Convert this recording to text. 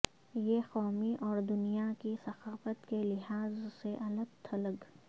یہ قومی اور دنیا کی ثقافت کے لحاظ سے الگ تھلگ